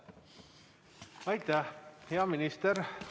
Aitäh, hea minister!